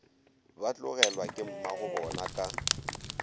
ba tlogelwa ke mmagobona ka